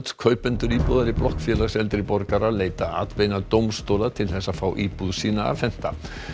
kaupendur íbúðar í blokk Félags eldri borgara leita atbeina dómstóla til þess að fá íbúð sína afhenta